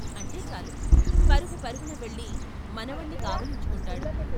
" అంటే చాలు పరుగు పరుగున వెళ్ళి మనవణ్ణి కావలించుకుంటాడు.